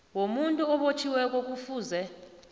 womuntu obotjhiweko kufuze